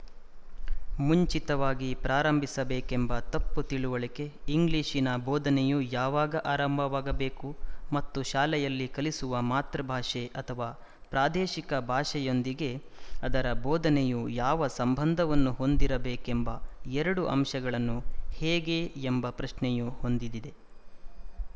ಮುಂಚಿತವಾಗಿ ಪ್ರಾರಂಭಿಸಬೇಕೆಂಬ ತಪ್ಪು ತಿಳುವಳಿಕೆ ಇಂಗ್ಲಿಶಿನ ಬೋಧನೆಯು ಯಾವಾಗ ಆರಂಭವಾಗಬೇಕು ಮತ್ತು ಶಾಲೆಯಲ್ಲಿ ಕಲಿಸುವ ಮಾತೃಭಾಷೆ ಅಥವಾ ಪ್ರಾದೇಶಿಕ ಭಾಷೆಯೊಂದಿಗೆ ಅದರ ಬೋಧನೆಯು ಯಾವ ಸಂಬಂಧವನ್ನು ಹೊಂದಿರಬೇಕೆಂಬ ಎರಡು ಅಂಶಗಳನ್ನು ಹೇಗೆ ಎಂಬ ಪ್ರಶ್ನೆಯು ಹೊಂದಿ ದಿದೆ